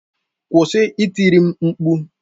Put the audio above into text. Kwụsị itiri m mkpu!